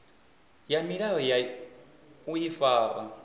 ya milayo ya u ifara